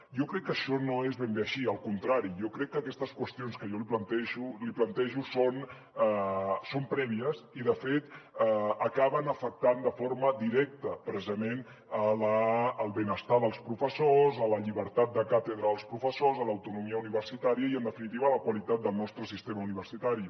jo crec que això no és ben bé així al contrari jo crec que aquestes qüestions que jo li plantejo són prèvies i de fet acaben afectant de forma directa precisament el benestar dels professors la llibertat de càtedra dels professors l’autonomia universitària i en definitiva la qualitat del nostre sistema universitari